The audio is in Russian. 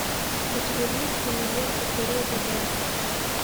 у тебя есть кинолента тереза д